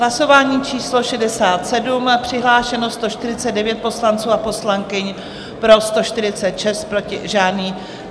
Hlasování číslo 67, přihlášeno 149 poslanců a poslankyň, pro 146, proti žádný.